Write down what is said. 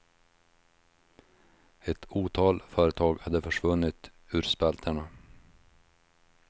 Ett otal företag hade försvunnit ur spalterna.